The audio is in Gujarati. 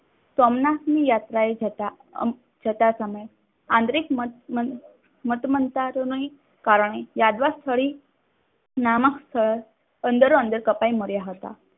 સોમનાથની યાત્રાએ જતા સમયે આંતરિક મતમંતારોની કારણે યાદવ સ્થળે નામક અંદરો અંદર કપાઈ માર્યા હતા.